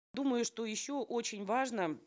думаю что еще очень важно